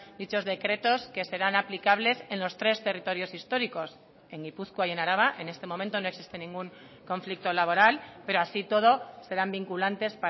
dichos decretos que serán aplicables en los tres territorios históricos en gipuzkoa y en araba en este momento no existe ningún conflicto laboral pero así y todo serán vinculantes